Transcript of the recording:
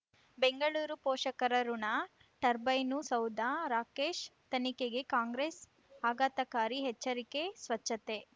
ಬೆಂಗಳೂರು ಪೋಷಕರಋಣ ಟರ್ಬೈನು ಸೌಧ ರಾಕೇಶ್ ತನಿಖೆಗೆ ಕಾಂಗ್ರೆಸ್ ಆಘಾತಕಾರಿ ಎಚ್ಚರಿಕೆ ಸ್ವಚ್ಛತೆ